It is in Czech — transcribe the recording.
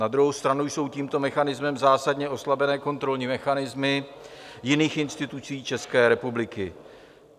Na druhou stranu jsou tímto mechanismem zásadně oslabené kontrolní mechanismy jiných institucí České republiky.